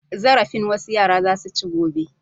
Zarafin wasu yara za su ci gobe.